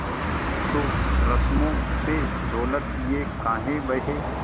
तो रस्मों पे दौलत ये काहे बहे